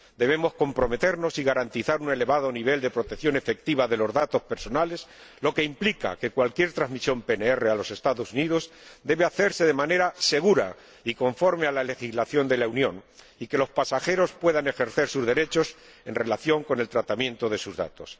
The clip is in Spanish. Debemos comprometernos y garantizar un elevado nivel de protección efectiva de los datos personales, lo que implica que cualquier transmisión PNR a los Estados Unidos debe hacerse de manera segura y conforme a la legislación de la Unión, y que los pasajeros puedan ejercer sus derechos en relación con el tratamiento de sus datos.